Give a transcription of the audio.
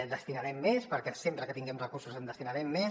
en destinarem més perquè sempre que tinguem recursos en destinarem més